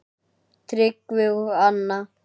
Tryggvi og Anna.